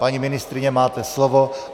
Paní ministryně, máte slovo.